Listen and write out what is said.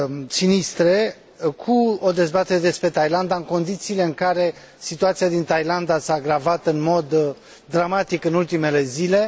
sinistre, cu o dezbatere despre Thailanda, în condițiile în care situația din Thailanda s a agravat în mod dramatic în ultimele zile.